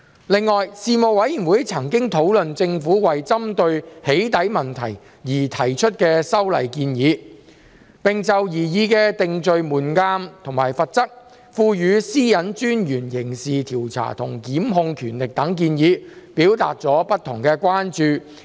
另外，事務委員會曾討論政府為針對"起底"問題而提出的修例建議，並就擬議的定罪門檻和罰則、賦予私隱專員刑事調查和檢控權力等建議，表達了不同的關注。